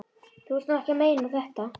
Þú ert nú ekki að meina þetta!